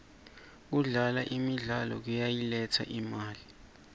kudlala imidlalo kuyayiletsa imali